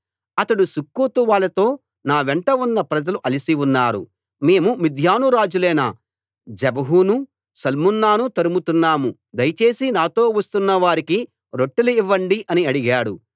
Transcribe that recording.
అతడు సుక్కోతు వాళ్ళతో నా వెంట ఉన్న ప్రజలు అలసి ఉన్నారు మేము మిద్యాను రాజులైన జెబహును సల్మున్నాను తరుముతున్నాము దయచేసి నాతో వస్తున్నవారికి రొట్టెలు ఇవ్వండి అని అడిగాడు